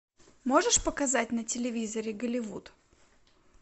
можешь показать на телевизоре голливуд